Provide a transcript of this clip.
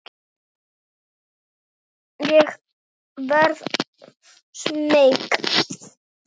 Ég verð smeyk.